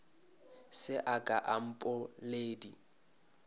se a ka a mpoledi